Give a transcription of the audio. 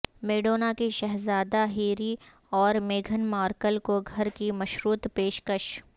Madonna کی شہزادہ Harry اور میگھن مارکل کو گھر کی مشروط پیش کش